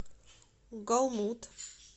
голмуд